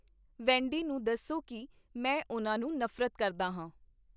ਵੈਂਡੀ ਨੂੰ ਦੱਸੋ ਕੀ ਮੈਂ ਉਨ੍ਹਾਂ ਨੂੰ ਨਫ਼ਰਤ ਕਰਦਾ ਹਾਂ